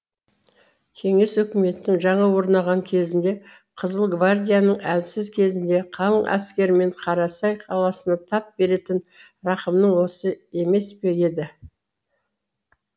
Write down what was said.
кеңес үкіметінің жаңа орнаған кезінде қызыл гвардияның әлсіз кезінде қалың әскермен қарасай қаласына тап беретін рақымың осы емес пе еді